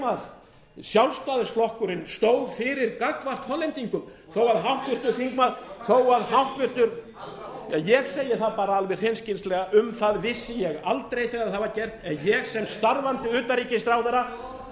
sem sjálfstæðisflokkurinn stóð fyrir gagnvart hollendingum ég segi það bara alveg hreinskilnislega um það vissi ég aldrei þegar það var gert en ég sem starfandi utanríkisráðherra kom hins